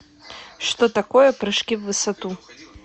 что такое прыжки в высоту